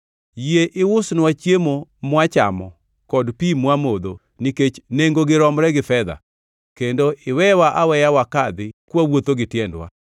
Yie iusnwa chiemo mwachamo kod pi mwamodho nikech nengogi romre gi fedha, kendo iwewa aweya wakadhi kwawuotho gi tiendwa,